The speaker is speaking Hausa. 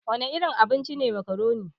Wana irin abinci ne makaroni?